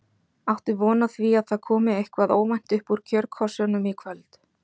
Áttu von á því að það komi eitthvað óvænt upp úr kjörkössunum í kvöld?